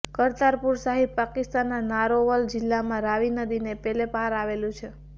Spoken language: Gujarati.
કરતારપુરસાહિબ પાકિસ્તાનના નારોવલ જિલ્લામાં રાવી નદીને પેલે પાર આવેલું છે